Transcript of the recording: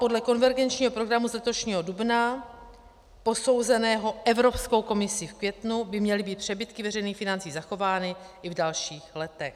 Podle konvergenčního programu z letošního dubna, posouzeného Evropskou komisí v květnu, by měly být přebytky veřejných financí zachovány i v dalších letech.